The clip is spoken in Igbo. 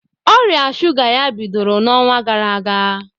Ọria sụga ya bịdoro n'ọnwa gara aga.